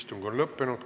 Istung on lõppenud.